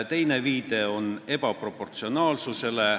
Teine põhjendus on ebaproportsionaalsus.